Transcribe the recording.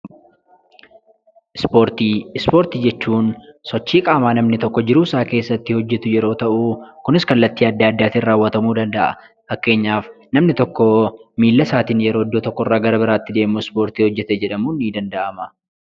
Ispoortii Ispoortii jechuun sochii qaamaa namni tokko jiruu isaa keessatti hojjetu yeroo ta'u, kunis kallattii adda addaatiin raawwatamuu danda'a. Fakkeenyaaf, namni tokko miila isaatiin yeroo iddoo tokko irraa gara biraatti deemu ispoortii hojjete jedhamuun ni danda'ama.